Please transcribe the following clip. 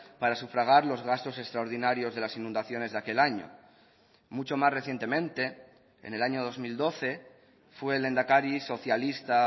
para sufragar los gastos extraordinarios de las inundaciones de aquel año mucho más recientemente en el año dos mil doce fue el lehendakari socialista